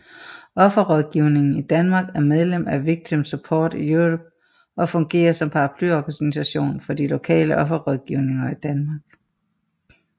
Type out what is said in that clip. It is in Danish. Offerrådgivningen i Danmark er medlem af Victim Support Europe og fungerer som paraplyorganisation for de lokale offerrådgivninger i Danmark